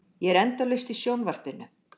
Ég er endalaust í sjónvarpinu.